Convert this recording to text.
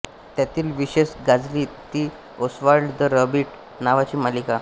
त्यातील विशेष गाजली ती ओस्वाल्ड द रॅबिट नावाची मालिका